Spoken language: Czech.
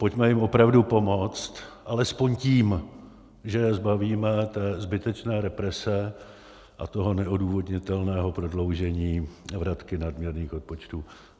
Pojďme jim opravdu pomoct alespoň tím, že je zbavíme té zbytečné represe a toho neodůvodnitelného prodloužení vratky nadměrných odpočtů.